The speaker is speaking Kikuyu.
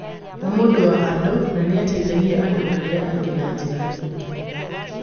Nĩ mũndũ wa andũ na nĩ ateithagia andũ arĩa angĩ na njĩra nyingĩ